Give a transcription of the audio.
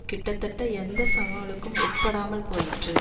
கிட்டத்தட்ட எந்த சவாலுக்கும் உட்படாமல் போயிற்று